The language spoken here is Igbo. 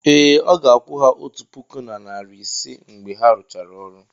ee, ọ ga-akwụ ha otu puku na narị ise mgbe ha rụchara ọrụ.